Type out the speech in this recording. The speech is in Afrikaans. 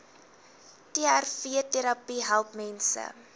trvterapie help mense